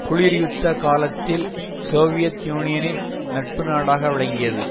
குளிர்யுத்த காலத்தில் சோவியத் யூனியனின் நட்பு நாடாக விளங்கியது